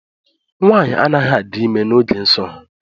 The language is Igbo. Nwaanyị anaghị adị ime n’oge nso ha